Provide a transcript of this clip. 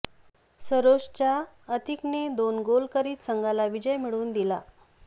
सरोशच्या अतिकने दोन गोल करीत संघाला विजय मिळवून दिला